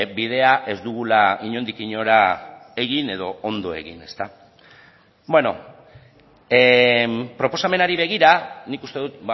bidea ez dugula inondik inora egin edo ondo egin proposamenari begira nik uste dut